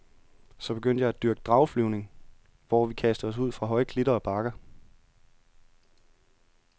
Så begyndte jeg at dyrke drageflyvning, hvor vi kastede os ud fra høje klitter og bakker.